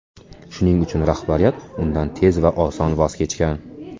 Shuning uchun rahbariyat undan tez va oson voz kechgan.